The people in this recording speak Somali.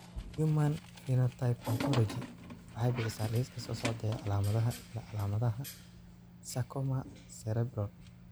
The Human Phenotype Ontology waxay bixisaa liiska soo socda ee calaamadaha iyo calaamadaha sarcoma Cerebral.